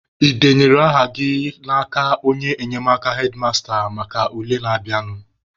Ị denyere aha gị n'aka onye enyemaka hedmasta maka ule na-abịanụ?